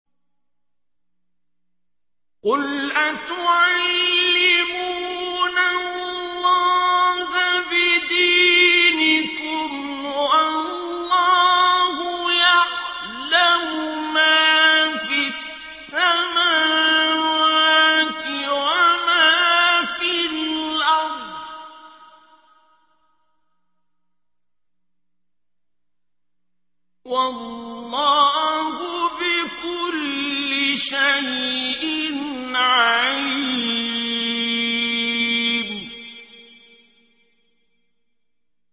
قُلْ أَتُعَلِّمُونَ اللَّهَ بِدِينِكُمْ وَاللَّهُ يَعْلَمُ مَا فِي السَّمَاوَاتِ وَمَا فِي الْأَرْضِ ۚ وَاللَّهُ بِكُلِّ شَيْءٍ عَلِيمٌ